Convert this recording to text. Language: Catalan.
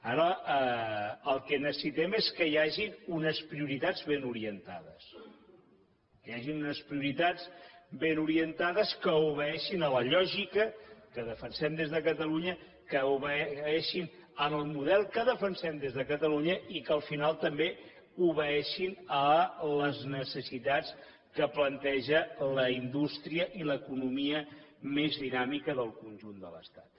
ara el que necessitem és que hi hagin unes prioritats ben orientades que hi hagin unes prioritats ben orientades que obeeixin a la lògica que defensem des de catalunya que obeeixin en el model que defensem des de catalunya i que al final també obeeixin a les necessitats que planteja la indústria i l’economia més dinàmica del conjunt de l’estat